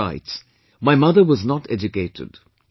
He further writes, "My mother was not educated